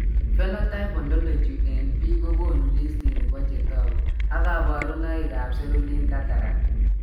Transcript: Phenotype ontology eng' biik kokonu listini bo chetogu ak kaborunoik ab cerulean cataract